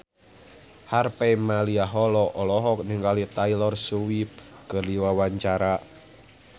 Harvey Malaiholo olohok ningali Taylor Swift keur diwawancara